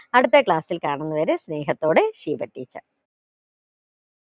അടുത്ത class ൽ കാണുന്നത് വരെ സ്നേഹത്തോടെ ഷീബ teacher